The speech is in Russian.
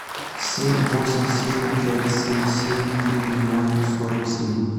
семь восемь семь пять семь семь три ноль сорок семь